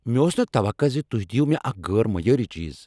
مےٚ اوس نہٕ توقع ز تُہۍ دیو مےٚ اکھ غیر معیٲری چیز۔